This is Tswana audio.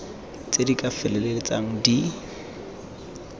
tse di ka feleltsang di